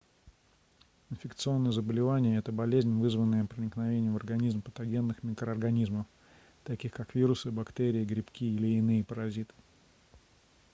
инфекционное заболевание это болезнь вызванная проникновением в организм патогенных микроорганизмов таких как вирусы бактерии грибки или иные паразиты